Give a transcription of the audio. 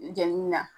Jɛni na